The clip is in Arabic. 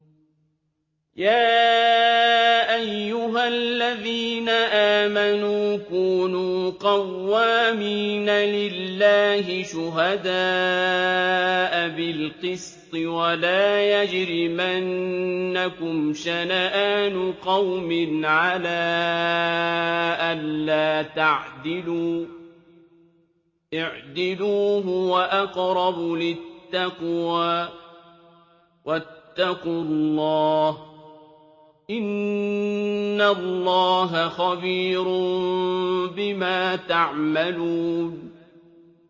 يَا أَيُّهَا الَّذِينَ آمَنُوا كُونُوا قَوَّامِينَ لِلَّهِ شُهَدَاءَ بِالْقِسْطِ ۖ وَلَا يَجْرِمَنَّكُمْ شَنَآنُ قَوْمٍ عَلَىٰ أَلَّا تَعْدِلُوا ۚ اعْدِلُوا هُوَ أَقْرَبُ لِلتَّقْوَىٰ ۖ وَاتَّقُوا اللَّهَ ۚ إِنَّ اللَّهَ خَبِيرٌ بِمَا تَعْمَلُونَ